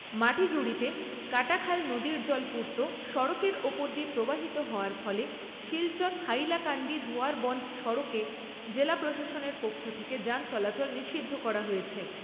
মাটিজুড়িতে কাটাখাল নদীর জল পূর্ত সড়কের ওপর দিয়ে প্রবাহিত হওয়ার ফলে শিলচর হাইলাকান্দি ধোয়ারবন্দ সড়কে জেলা প্রশাসনের পক্ষ থেকে যান চলাচল নিষিদ্ধ করা হয়েছে।